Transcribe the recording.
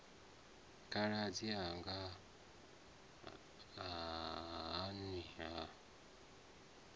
khaladzi anga ha nwi ha